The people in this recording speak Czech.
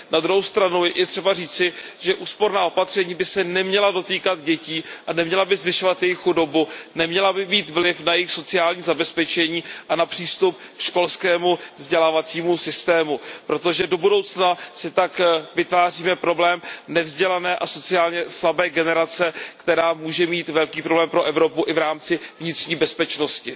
Na druhou stranu je třeba říci, že úsporná opatření by se neměla dotýkat dětí a neměla by zvyšovat jejich chudobu, neměla by mít vliv na jejich sociální zabezpečení a na přístup k školskému vzdělávacímu systému, protože do budoucna si tak vytváříme problém nevzdělané a sociálně slabé generace, která může být velkým problémem pro Evropu i v rámci vnitřní bezpečnosti.